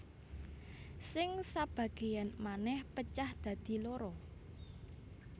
Sing sabagéyan manèh pecah dadi loro